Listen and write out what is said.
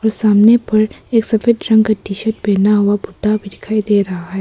र सामने पर एक सफेद रंग का टी शर्ट पहना हुआ बुड्ढा भी दिखाई दे रहा है।